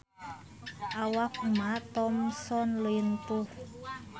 Awak Emma Thompson lintuh